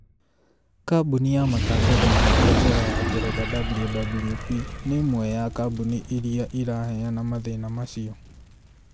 Kambuni ya matangatho ma biashara ya Ngeretha WWP nĩ ĩmwe ya kambuni irĩa ĩraheana mathĩna macĩo